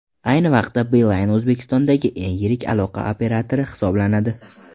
Ayni vaqtda Beeline O‘zbekistondagi eng yirik aloqa operatori hisoblanadi.